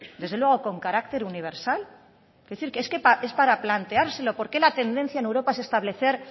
desde luego con carácter universal es decir que es para planteárselo por qué la tendencia en europa es establecer